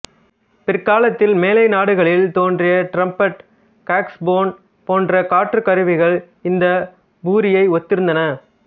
பிற்காலத்தில் மேலை நாடுகளில் தோன்றிய டிரம்பட் சாக்சபோன் போன்ற காற்றுக் கருவிகள் இந்த பூரியை ஒத்திருந்தன